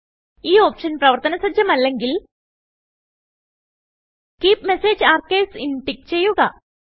ഈ ഓപ്ഷൻ പ്രവർത്തന സജ്ജമല്ലെങ്കിൽ കീപ് മെസേജ് ആർക്കൈവ്സ് inടിക്ക് ചെയ്യുക